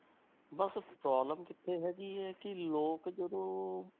ਬਸ problem ਕਿੱਥੇ ਹੈਗੀ ਹੈ ਕਿ ਲੋਕ ਜਦੋਂ,